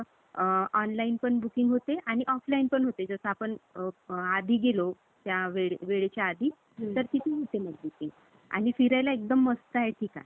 Hello काय झालं रे? आवाज येई ना का काय? माझा यायलाय का आवाज?